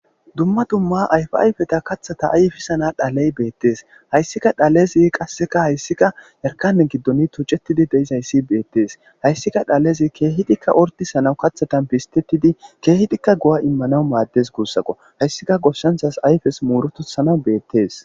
dumma dumma ayfi ayfeta kathata ayfisana dhaley beettees hayssika dhalezi qasseka hayssika erkane giddoni tucettidi deizayssi beettees hayssika dhalezi keehidikka ordisanaw kathatan pistetidi keehidikka go7a immanawu maaddes guussaqo hayssika goshshanthas ayfes muurotusana beettees